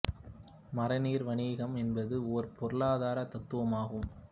மறை நீர் வணிகம் என்பது ஒரு பொருளாதார தத்துவம் ஆகும்